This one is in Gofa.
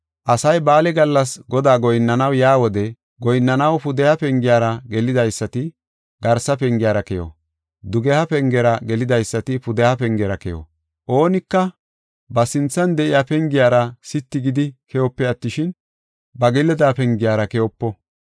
“Asay ba7aale gallas Godaa goyinnanaw yaa wode goyinnanaw pudeha pengiyara gelidaysati garsa pengiyara keyo; dugeha pengera gelidaysati pudeha pengera keyo. Oonika ba sinthan de7iya pengiyara sitti gidi keyope attishin, ba gelida pengiyara keyopo.